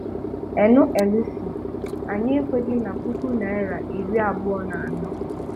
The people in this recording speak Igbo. NLC: Anyị ekweghị na puku naira iri abụọ na anọ